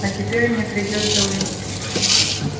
а теперь мне придётся уйти